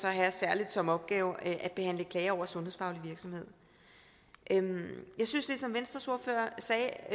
have særligt som opgave at behandle klager over sundhedsfaglig virksomhed jeg synes ligesom venstres ordfører sagde